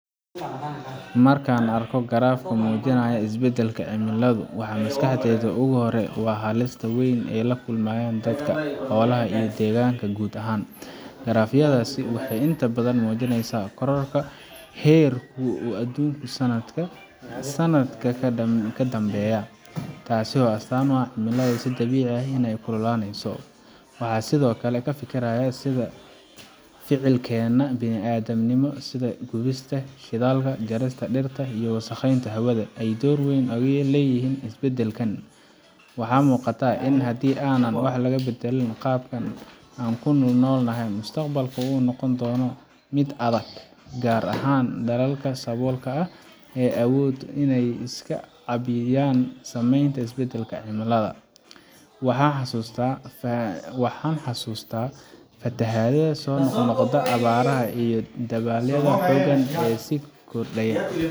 Marka aan arko graph muujinaya isbeddelka cimilada, waxa maskaxdayda ugu horreeya waa halisda weyn ee ay la kulmayaan dadka, xoolaha, iyo deegaanka guud ahaan. Graph yadaasi waxay inta badan muujinaysaa kororka heerku adduunka sanadba sanadka ka dambeeya, taasoo astaan u ah in cimiladu si dabiici ah u sii kululaanayso. Waxaan sidoo kale ka fikirayaa sida ficilkeenna bini’aadamnimo sida gubista shidaalka, jarista dhirta, iyo wasakheynta hawada ay door weyn ugu leeyihiin isbeddelkan. Waxaa muuqata in haddii aanan wax ka bedelin qaabka aan u noolnahay, mustaqbalka uu noqon doono mid aad u adag, gaar ahaan dalalka saboolka ah ee aan awoodin inay iska caabiyaan saameynta isbeddelka cimilada.